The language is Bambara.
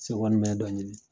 dɔ ɲini.